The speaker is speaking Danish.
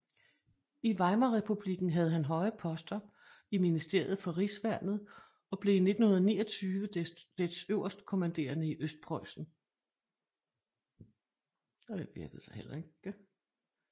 I Weimarrepublikken havde han høje poster i ministeriet for rigsværnet og blev i 1929 dets øverstkommanderende i Østpreussen